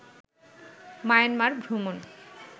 Myanmar ভ্রমণ